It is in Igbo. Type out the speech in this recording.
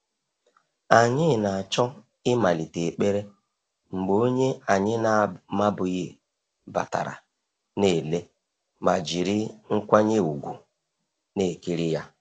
Anyị na-achọ ịmalite ekpere mgbe onye anyị na-amabughị batara, na ele ma jiri nkwanye ùgwù na-ekiri ya.